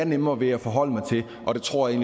nemmere ved at forholde mig til og det tror jeg